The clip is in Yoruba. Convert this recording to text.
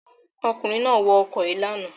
Ọkùnrin náà wọ ọkọ̀ yìí lánàá.